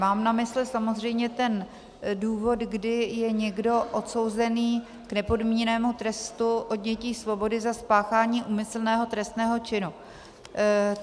Mám na mysli samozřejmě ten důvod, kdy je někdo odsouzený k nepodmíněnému trestu odnětí svobody za spáchání úmyslného trestného činu.